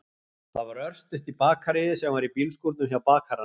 Það var örstutt í bakaríið, sem var í bílskúrnum hjá bakaranum.